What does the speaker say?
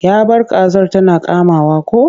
Ya bar kazar tana kamawa ko?